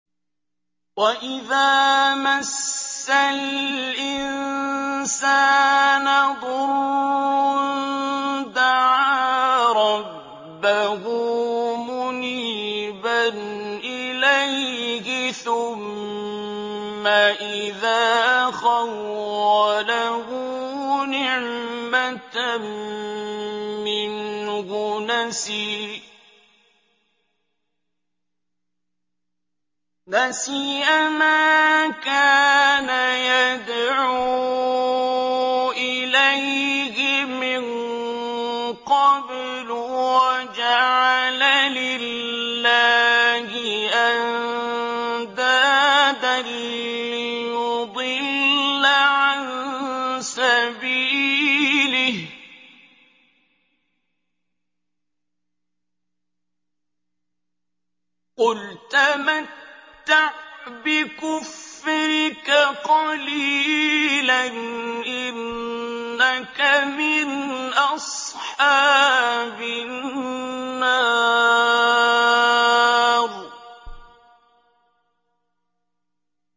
۞ وَإِذَا مَسَّ الْإِنسَانَ ضُرٌّ دَعَا رَبَّهُ مُنِيبًا إِلَيْهِ ثُمَّ إِذَا خَوَّلَهُ نِعْمَةً مِّنْهُ نَسِيَ مَا كَانَ يَدْعُو إِلَيْهِ مِن قَبْلُ وَجَعَلَ لِلَّهِ أَندَادًا لِّيُضِلَّ عَن سَبِيلِهِ ۚ قُلْ تَمَتَّعْ بِكُفْرِكَ قَلِيلًا ۖ إِنَّكَ مِنْ أَصْحَابِ النَّارِ